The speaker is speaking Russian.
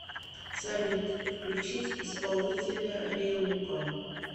салют включить исполнителя рейко